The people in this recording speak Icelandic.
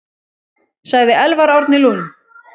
Sagði Elvar Árni Lund.